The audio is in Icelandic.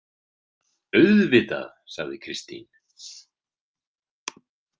Auðvitað, sagði Kristín.